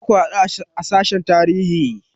Za ku haɗu a sashen tarihi?